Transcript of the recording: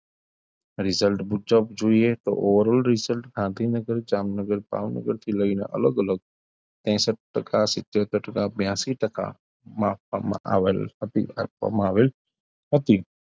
result મુજબ જોઈએ તો oral result ગાંધીનગર, જામનગર, ભાવનગર થી લઈને અલગ -અલગ ત્રેસઠ ટકા, સીત્ત્યોતેર ટકા, બ્યાસી ટકા માં આપવામાં આપવામાં આવેલ નથી.